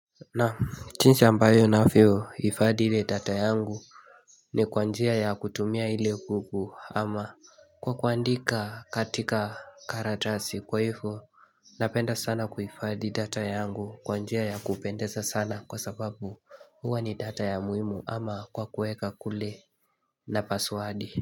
Na jinsi ambayo ninavyo hifadhi ile data yangu ni kwa njia ya kutumia ile buku ama kwa kuandika katika karatasi kwa hivyo Napenda sana kuifadhi data yangu kwa njia ya kupendeza sana kwa sababu huwa ni data ya muhimu ama kwa kuweka kule na paswadi.